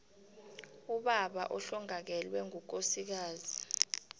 ubaba ohlongakalelwe ngukosikazi